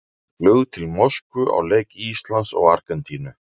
Flug til Moskvu á leik Íslands og Argentínu.